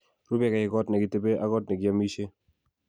rubekei kot ne kitebe ak kot nekiamishe